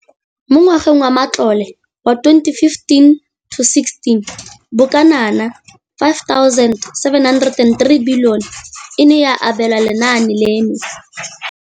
Mo ngwageng wa matlole wa 2015,16, bokanaka R5 703 bilione e ne ya abelwa lenaane leno.